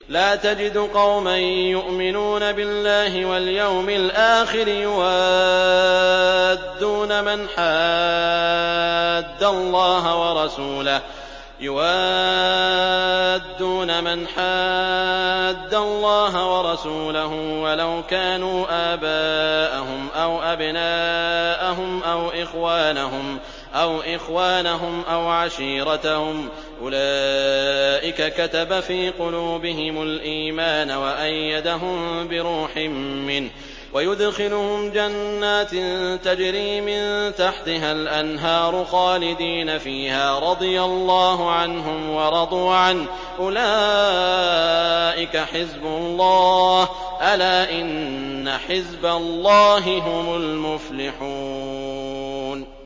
لَّا تَجِدُ قَوْمًا يُؤْمِنُونَ بِاللَّهِ وَالْيَوْمِ الْآخِرِ يُوَادُّونَ مَنْ حَادَّ اللَّهَ وَرَسُولَهُ وَلَوْ كَانُوا آبَاءَهُمْ أَوْ أَبْنَاءَهُمْ أَوْ إِخْوَانَهُمْ أَوْ عَشِيرَتَهُمْ ۚ أُولَٰئِكَ كَتَبَ فِي قُلُوبِهِمُ الْإِيمَانَ وَأَيَّدَهُم بِرُوحٍ مِّنْهُ ۖ وَيُدْخِلُهُمْ جَنَّاتٍ تَجْرِي مِن تَحْتِهَا الْأَنْهَارُ خَالِدِينَ فِيهَا ۚ رَضِيَ اللَّهُ عَنْهُمْ وَرَضُوا عَنْهُ ۚ أُولَٰئِكَ حِزْبُ اللَّهِ ۚ أَلَا إِنَّ حِزْبَ اللَّهِ هُمُ الْمُفْلِحُونَ